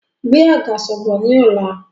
Gbé àgàsọ̀ bọ̀ ni ọ̀la!